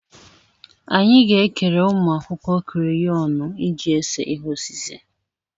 Anyị ga-ekere ụmụ akwụkwọ kreyọnụ iji ese ihe osise.